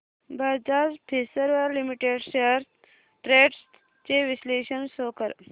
Bajaj Finserv Limited shares trends चे विश्लेषण show कर